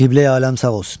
Qibləyi aləm sağ olsun.